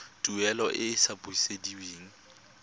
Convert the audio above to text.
tuelo e e sa busediweng